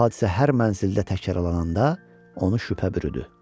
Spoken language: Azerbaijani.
Lakin bu hadisə hər mənzildə təkrarlananda, onu şübhə bürüdü.